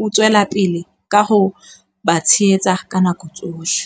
O tswela pele ka ho ba tshehetsa ka nako tsohle.